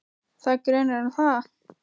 Það er grunur um það.